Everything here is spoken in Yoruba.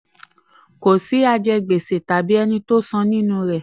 26. kò sí ajigbèsè tàbí ẹni um tó um san nínú rẹ̀.